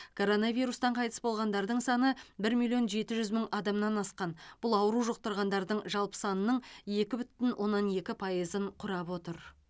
коронавирустан қайтыс болғандардың саны бір миллион жеті жүз мың адамнан асқан бұл ауру жұқтырғандардың жалпы санының екі бүтін оннан екі пайызын құрап отыр